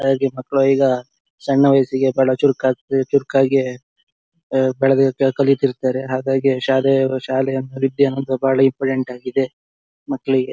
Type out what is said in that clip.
ಹೇಗೆ ಮಕ್ಳು ಈಗ ಸಣ್ಣ ವಯಸ್ಸಿಗೆ ಬಾಳ ಚುರ್ಕ್ ಚುರ್ಕಾಗಿ ಆ ಬೆಳ್ದ್ ಕಲಿತಿರ್ತಾರೆ ಹಾಗಾಗಿ ಶಾಲೆಯವ್ರು ಶಾಲೆಯಂಬ ವಿದ್ಯೆ ಅನ್ನೋದು ತುಂಬ ಇಂಪಾರ್ಟೆಂಟ್ ಆಗಿದೆ ಮಕ್ಳಿಗೆ .